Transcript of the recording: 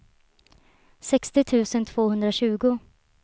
sextio tusen tvåhundratjugo